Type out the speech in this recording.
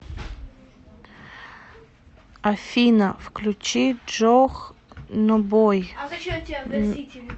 афина включи джохнобой